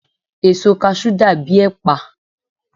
èso cashew dàbí ẹpa